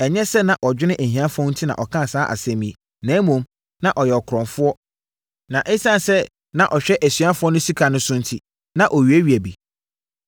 Ɛnyɛ sɛ na ɔdwene ahiafoɔ ho enti na ɔkaa saa asɛm yi, na mmom, na ɔyɛ ɔkorɔmfoɔ na ɛsiane sɛ na ɔhwɛ asuafoɔ no sika so enti, na ɔwiawia bi.